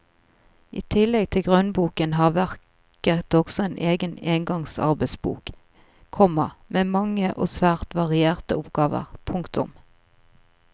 I tillegg til grunnboken har verket også en egen engangsarbeidsbok, komma med mange og svært varierte oppgaver. punktum